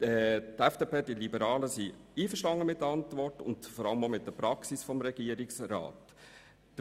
Die FDP-Fraktion ist mit der Antwort und vor allem auch mit der Praxis des Regierungsrats einverstanden.